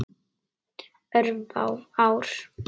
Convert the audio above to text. Örfá ár.